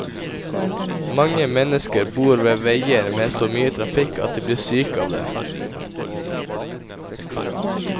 Mange mennesker bor ved veier med så mye trafikk at de blir syke av det.